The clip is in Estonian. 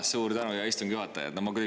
Suur tänu, hea istungi juhataja!